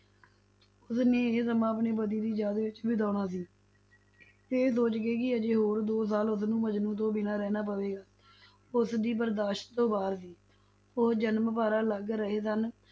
ਉਸਨੇ ਇਹ ਸਮਾਂ ਆਪਣੇ ਪਤੀ ਦੀ ਯਾਦ ਵਿੱਚ ਬਿਤਾਉਣਾ ਸੀ ਇਹ ਸੋਚ ਕਿ ਅਜੇ ਹੋਰ ਦੋ ਸਾਲ ਉਸਨੂੰ ਮਜਨੂੰ ਤੋਂ ਬਿਨਾਂ ਰਹਿਣਾ ਪਵੇਗਾ, ਉਸਦੀ ਬਰਦਾਸ਼ਤ ਤੋਂ ਬਾਹਰ ਸੀ, ਉਹ ਜਨਮ ਭਰ ਅਲੱਗ ਰਹੇ ਸਨ